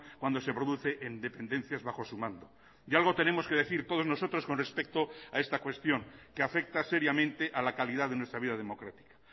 cuando se produce en dependencias bajo su mando y algo tenemos que decir todos nosotros con respecto a esta cuestión que afecta seriamente a la calidad de nuestra vida democrática